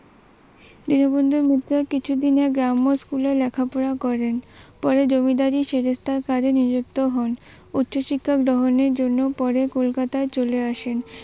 দীনবন্ধু মিত্র কিছুদিন গ্রাম্য স্কুলে লেখাপড়া করেন। পরে জমিদারী সেরেস্থার কারণে যুক্ত হন, উচ্চ শিক্ষা গ্রাহণের জন্য পরে কলকাতায় চলে আসেন।